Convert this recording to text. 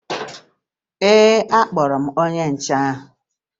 Ee, akpọrọ m onye nche ahụ